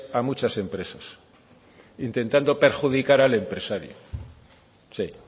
a muchas empresas intentando perjudicar al empresario sí